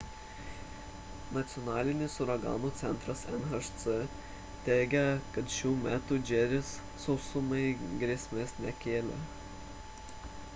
nacionalinis uraganų centras nhc teigia kad šiuo metu džeris sausumai grėsmės nekelia